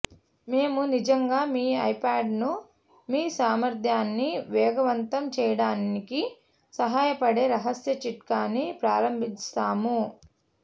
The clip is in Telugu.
మేము నిజంగా మీ ఐప్యాడ్ను మీ సామర్థ్యాన్ని వేగవంతం చేయడానికి సహాయపడే రహస్య చిట్కాని ప్రారంభిస్తాము